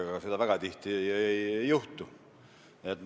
Ega seda väga tihti ei juhtu.